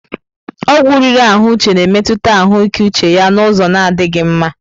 Ọgwụ riri ahụ Uche na-emetụta ahụike uche ya n'ụzọ na adịghị mma.